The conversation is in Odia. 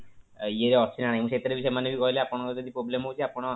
ଇଏ ଅଛି ନା ନାଇଁ ସେଥିରେ ବି ସେମାନେ କହିଲେ ଆପଣଙ୍କର ଯଦି problem ହଉଚି ଆପଣ